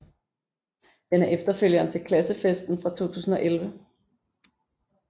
Den er efterfølgeren til Klassefesten fra 2011